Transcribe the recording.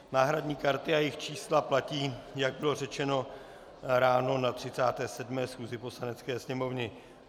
Náhradní karty a jejich čísla platí, jak bylo řečeno ráno na 37. schůzi Poslanecké sněmovny.